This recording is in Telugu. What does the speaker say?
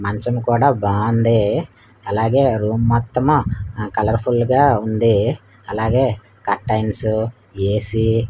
మంచం కూడా బావుంది అలాగే రూమ్ మొత్తం ఆ కలర్ ఫుల్ గా ఉంది అలాగే కర్టైన్స్ ఏ_సి --